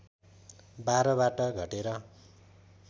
१२बाट घटेर